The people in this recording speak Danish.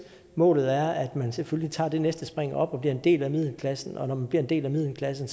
målet er at man selvfølgelig tager det næste spring op og bliver en del af middelklassen og når man bliver en del af middelklassen